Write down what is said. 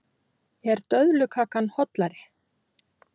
Er döðlukakan hollari?